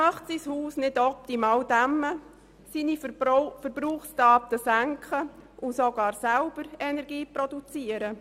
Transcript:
Wer möchte sein Haus nicht optimal dämmen, seine Verbrauchsdaten senken und sogar selber Energie produzieren?